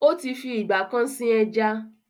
Ó ti fi ìgbà kan sin ẹja